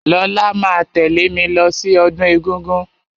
Lọlá máa tẹ̀lẹ́ mí lọ sí ọdún egúngún.